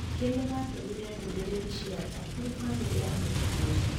Ningĩ nĩ maatũmire ndũmĩrĩri cia tha kũrĩ famĩlĩ ya mũtigaire.